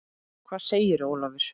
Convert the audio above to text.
Hvað segir Ólafur?